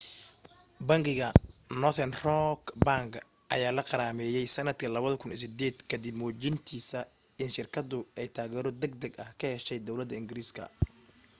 bangiga northern rock bank ayaa la qarameeyyay sanadkii 2008 kadib muujintiisa in shirkadu ay taageero degdeg ah ka heshay dowlada ingiriiska